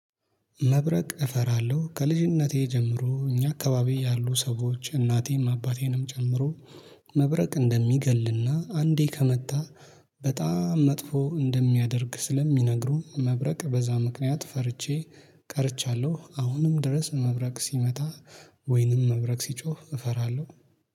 መብረቅ እፈራለሁ ከልጅነቴ ጀምሮ እኛ አካባቢ ያሉ ሰዎች እናቴም አባቴንም ጨምሮ መብረቅ እንደሚገልና አንዴ ከመጣ በጣም መጥፎ እንደሚያደርግ ስለሚነግሩ መብረቅ በዛ ምክንያት ፈርቼ ቀርቻለሁ። አሁንም ድረስ መብረቅ ሲመጣ ወይንም መብረቅ ሲጮህ እፈራለሁ